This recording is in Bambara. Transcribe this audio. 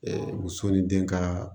muso ni den ka